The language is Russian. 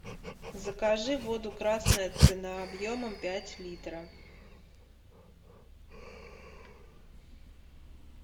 закажи воду красная цена объемом пять литров